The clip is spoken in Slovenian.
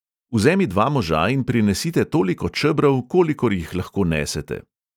Vzemi dva moža in prinesite toliko čebrov, kolikor jih lahko nesete.